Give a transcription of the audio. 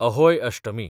Ahoi Ashtami